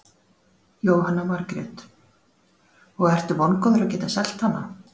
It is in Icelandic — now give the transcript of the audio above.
Jóhanna Margrét: Og ertu vongóður að geta selt hana?